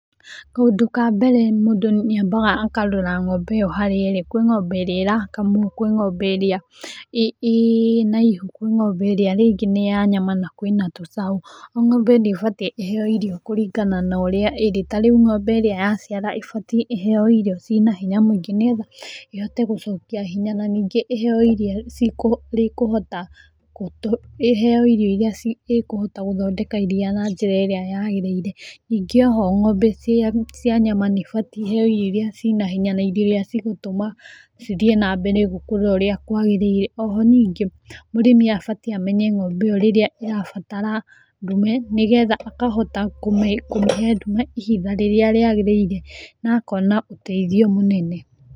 Kaũndũ ka mbere mũndũ nĩ ambaga akarora ng'ombe ĩyo harĩa ĩrĩ. Kũrĩ ng'ombe ĩrĩa ĩrakamwo, kwĩ ng'ombe ĩrĩa ĩĩ na ihu kwĩna ng'ombe ĩrĩa ĩngĩ nĩ ya nyama na kwĩna tũcaũ. O ng'ombe ni ĩbatiĩ ĩheyo iriyo kũringana na ũrĩa ĩrĩ ta rĩu ng'ombe ĩrĩa yaciara ĩbatiĩ ĩheyo irio ciĩ na hinya nĩgetha ĩhote gũcokia hinya, na ningĩ ĩheyo irio ikũhota gũthondeka iriya na njĩra ĩrĩa yagĩrĩire. Ningĩ oho ng'ombe cia nyama nĩ ibatie iheyo irio iria ciĩ na hinya na irio iria igũtũma cithiĩ na mbere ũrĩa kwagĩrĩire. Oho ningĩ mũrĩmi abatiĩ amenye ng'ombe ĩyo rĩrĩa ĩrabatara ndume nĩ getha akahota kũmĩhe ndume ihinda rĩrĩa rĩagĩrĩire na akona ũteithio mũnene.